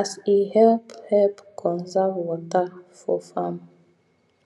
as e help help conserve water for farm